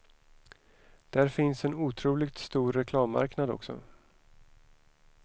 Där finns en otroligt stor reklammarknad också.